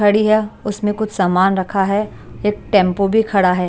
खड़ी है उसमें कुछ सामान रखा है एक टेंपो भी खड़ा है।